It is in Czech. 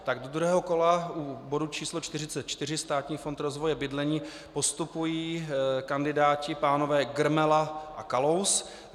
Tak do druhého kola u bodu číslo 44, Státní fond rozvoje bydlení, postupují kandidáti - pánové Grmela a Kalous.